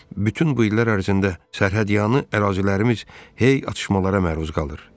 Bütün bu illər ərzində sərhədyanı ərazilərimiz hey atışmalara məruz qalır.